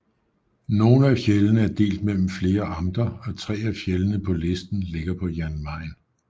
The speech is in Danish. Nogle af fjeldene er delt mellem flere amter og tre af fjeldene på listen ligger på Jan Mayen